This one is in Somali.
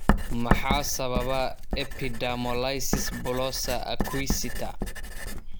Maxaa sababa epidermolysis bullosa acquisita?